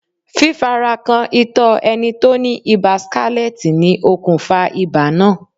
Fífarakan ìtọ́ ẹni tó ní Ibà skálẹ́tì ni okùnfà ibà náà.